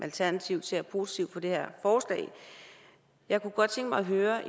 alternativet ser positivt på det her forslag jeg kunne godt tænke mig at høre